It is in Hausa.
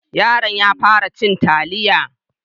Yaron ya fara cin taliya.